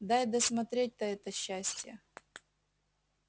дай досмотреть-то это счастье